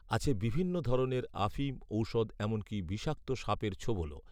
আছে বিভিন্ন ধরনের আফিম ঔষধ এমনকী বিষাক্ত সাপের ছোবলও